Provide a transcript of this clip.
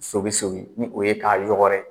Sogin sogin ni o ye k'a yɔgɔrɛ